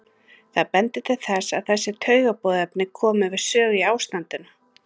Það bendir til þess að þessi taugaboðefni komi við sögu í ástandinu.